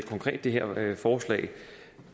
det her forslag